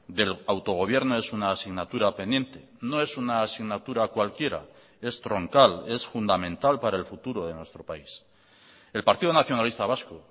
del autogobierno es una asignatura pendiente no es una asignatura cualquiera es troncal es fundamental para el futuro de nuestro país el partido nacionalista vasco